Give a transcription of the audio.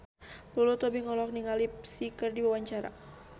Lulu Tobing olohok ningali Psy keur diwawancara